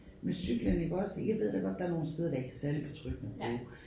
Med cyklen iggås det jeg ved da godt der nogle steder der ikke er særlig betryggende at bruge